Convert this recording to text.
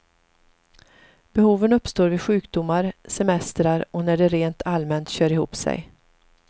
Behoven uppstår vid sjukdomar, semestrar och när det rent allmänt kör ihop sig.